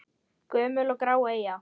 Gömul og grá eyja?